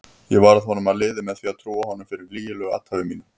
Ég varð honum að liði með því að trúa honum fyrir lygilegu athæfi mínu.